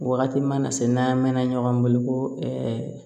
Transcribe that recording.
Wagati mana se n'an mɛn na ɲɔgɔn bolo ko